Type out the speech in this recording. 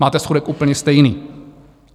Máte schodek úplně stejný.